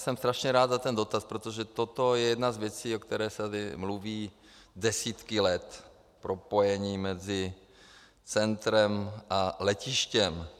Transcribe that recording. Jsem strašně rád za ten dotaz, protože toto je jedna z věcí, o které se tady mluví desítky let - propojení mezi centrem a letištěm.